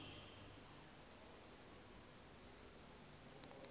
kaloku lo mfo